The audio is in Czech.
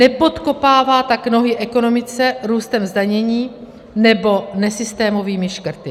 Nepodkopává tak nohy ekonomice růstem zdanění nebo nesystémovými škrty.